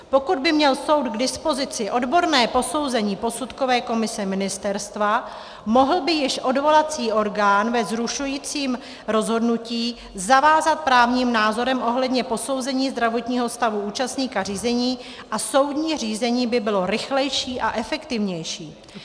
Pokud by měl soud k dispozici odborné posouzení posudkové komise ministerstva, mohl by již odvolací orgán ve zrušujícím rozhodnutí zavázat právním názorem ohledně posouzení zdravotního stavu účastníka řízení a soudní řízení by bylo rychlejší a efektivnější.